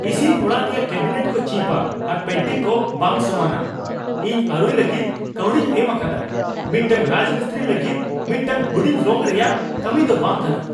ᱤᱥᱤᱱ ᱚᱲᱟᱜ ᱨᱮᱭᱟᱜ ᱠᱮᱵᱤᱱᱮᱴ ᱠᱚ ᱪᱤᱯᱼᱟ ᱟᱨ ᱯᱮᱱᱴᱤᱝ ᱠᱚ ᱵᱟᱝ ᱥᱚᱢᱟᱱᱟ ᱾ ᱤᱧ ᱟᱹᱨᱩᱭ ᱞᱟᱹᱜᱤᱫ ᱠᱟᱹᱣᱰᱤᱧ ᱮᱢ ᱟᱠᱟᱫᱟ, ᱢᱤᱫᱴᱟᱝ ᱨᱟᱡᱽᱢᱤᱥᱛᱨᱤ ᱞᱟᱹᱜᱤᱫ ᱢᱤᱫᱴᱟᱝ ᱦᱩᱰᱤᱧ ᱨᱚᱝ ᱨᱮᱭᱟᱜ ᱠᱟᱹᱢᱤ ᱫᱚ ᱵᱟᱝ ᱠᱟᱱᱟ ᱾